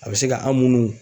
A bɛ se ka an' munnu